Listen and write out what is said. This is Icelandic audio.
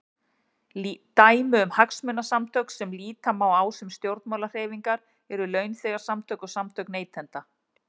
Dæmi um hagsmunasamtök sem líta má á sem stjórnmálahreyfingar eru launþegasamtök og samtök neytenda.